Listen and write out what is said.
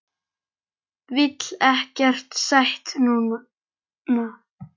Vil ekkert sætt núna.